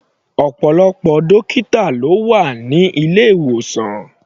Ọ̀pọ̀lọpọ̀ dọ́kítà ló wà ní ilé-ìwòsàn.